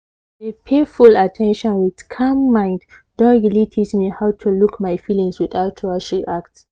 to de pay full at ten tion with calm mind don really teach me how to look my feelings without rush react